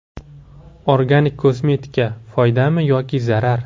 Organik kosmetika: foydami yoki zarar?.